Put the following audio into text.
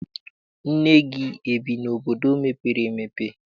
Nne gị ebi n'obodo mepere emepe?